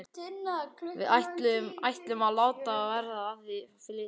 Við ætlum að láta verða af því að flytjast norður.